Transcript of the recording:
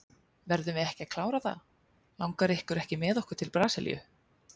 Verðum við ekki að klára það, langar ykkur ekki með okkur til Brasilíu.